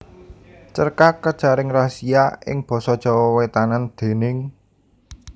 Cerkak Kejaring Razia ing basa Jawa Wétanan déning